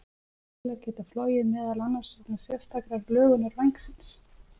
flugvélar geta flogið meðal annars vegna sérstakrar lögunar vængsins